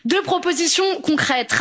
Deux propositions concrètes.